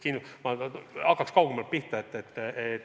Ma hakkan kaugemalt pihta.